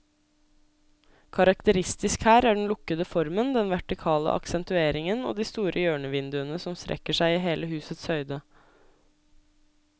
Karakteristisk her er den lukkede formen, den vertikale aksentueringen og de store hjørnevinduene som strekker seg i hele husets høyde.